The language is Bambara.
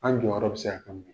An jɔyɔrɔ bɛ se ka kɛ mun ye?